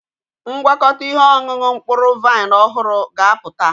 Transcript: Ngwakọta ihe ọṅụṅụ mkpụrụ vaịn ọhụrụ ga-apụta.